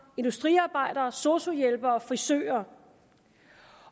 industriarbejdere sosu hjælpere frisører